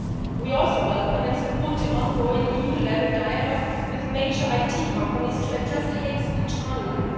We also welcome and support the ongoing EU level dialogue with major IT companies to address hate speech online.